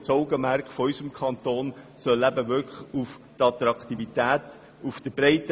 Das Augenmerk soll vielmehr auf der Attraktivität als Wohnkanton liegen.